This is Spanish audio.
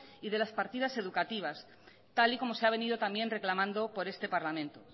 y de las partidas educativas tal y como se ha venido también reclamando por este parlamento